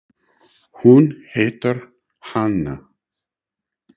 Hún heitir Hanna.